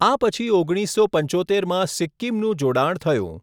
આ પછી ઓગણીસસો પંચોતેરમાં સિક્કિમનું જોડાણ થયું.